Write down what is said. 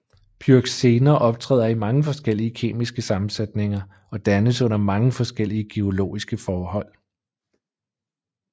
Pyroxener optræder i mange forskellige kemiske sammensætninger og dannes under mange forskellige geologiske forhold